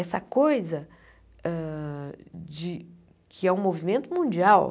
Essa coisa hã de... Que é um movimento mundial.